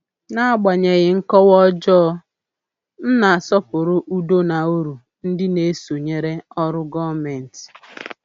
N’agbanyeghị nkọwa ọjọọ, m na-asọpụrụ udo na uru ndị na-esonyere ọrụ gọmenti.